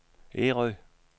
Ærø